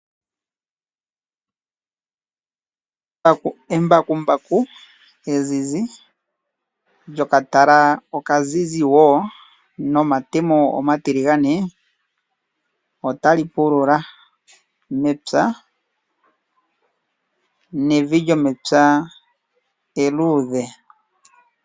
Embakumbaku ezizi lyokatala okazizi wo nomatemo omatiligane otali pulula mepya nevi lyomepya eluudhe.